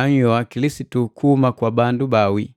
anhyoha Kilisitu kuhuma kwa bandu bawii.